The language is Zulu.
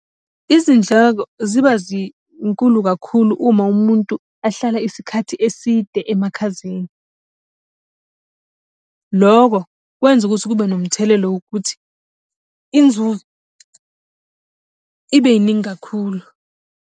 Izindleko ziba zinkulu kakhulu uma umuntu ahlala isikhathi eside emakhazeni. Lokho kwenza ukuthi kube nomthelelo wokuthi, inzuzo ibeningi kakhulu.